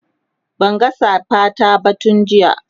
Banga safa ta ba tun jiya